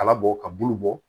Kala bɔ ka bulu bɔ